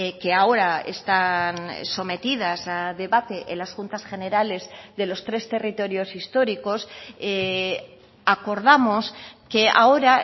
que ahora están sometidas a debate en las juntas generales de los tres territorios históricos acordamos que ahora